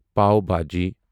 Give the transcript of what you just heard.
pav bhaji